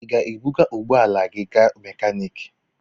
Ị ga-ebuga ụgbọ ala gị gaa n'mekaniki?